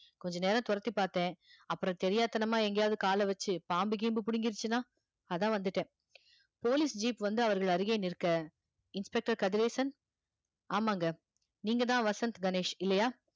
கொஞ்ச நேரம் தொரத்தி பார்த்தேன் அப்புறம் தெரியாத்தனமா எங்கேயாவது காலை வச்சு பாம்பு கிம்பு புடுங்கிருச்சுன்னா அதான் வந்துட்டேன் police jeep வந்து அவர்கள் அருகே நிற்க inspector கதிரேசன் ஆமாங்க நீங்கதான் வசந்த் கணேஷ் இல்லையா